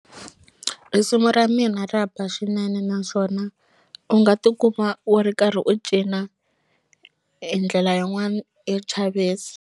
Risimu ra mina ra ba swinene naswona u nga tikuma u ri karhi u cina hi ndlela yin'wani yo chavisa.